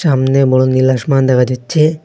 সামনে বড় নীল আসমান দেখা যাচ্ছে।